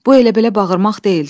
Bu elə-belə bağırmaq deyildi.